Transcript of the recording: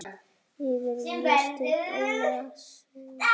eftir Véstein Ólason